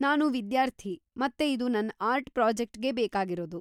ನಾನು ವಿದ್ಯಾರ್ಥಿ, ಮತ್ತೆ ಇದು ನನ್ ಆರ್ಟ್‌ ಪ್ರಾಜೆಕ್ಟ್‌ಗೆ ಬೇಕಾಗಿರೋದು.